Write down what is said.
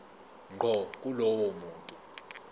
ngqo kulowo muntu